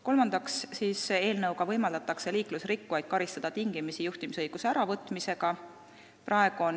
Kolmandaks, eelnõuga võimaldatakse liiklusrikkujaid karistada juhtimisõiguse tingimisi äravõtmisega.